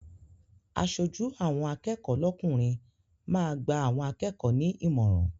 Aṣojú àwọn akẹ́kọ̀ọ́ lọ́kùnrin máa gba àwọn akẹ́kọ̀ọ́ ní ìmọ̀ràn.